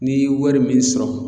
N'i yi wari min sɔrɔ